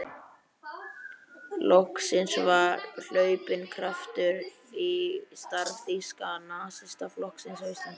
Loksins var hlaupinn kraftur í starf Þýska nasistaflokksins á Íslandi.